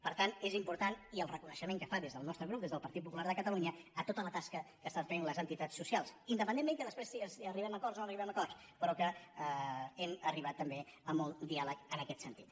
per tant és important i el reconeixement que es fa des del nos·tre grup des del partit popular de catalunya a tota la tasca que estan fent les entitats socials indepen·dentment que després arribem a acords o no arri·bem a acords però que hem arribat també a molt diàleg en aquest sentit